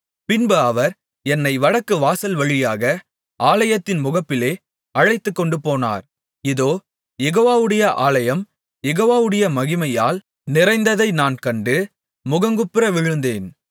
பின்பு அவர் என்னை வடக்கு வாசல்வழியாக ஆலயத்தின் முகப்பிலே அழைத்துக்கொண்டுபோனார் இதோ யெகோவாவுடைய ஆலயம் யெகோவாவுடைய மகிமையால் நிறைந்ததை நான் கண்டு முகங்குப்புற விழுந்தேன்